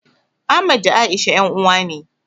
Ahmad da A'isha ƴan uwa ne.